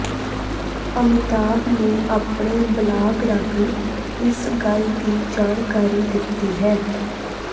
ਅਮਿਤਾਭ ਨੇ ਆਪਣੇ ਬਲਾਗ ਰਾਹੀਂ ਇਸ ਗੱਲ ਦੀ ਜਾਣਕਾਰੀ ਦਿੱਤੀ ਹੈ